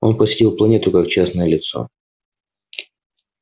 он посетил планету как частное лицо